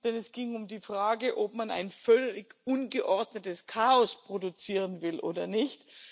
Denn es ging um die Frage, ob man ein völlig ungeordnetes Chaos produzieren will oder nicht.